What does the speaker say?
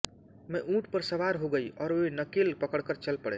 मैं ऊंट पर सवार हो गई और वे नकेल पकड़कर चल पड़े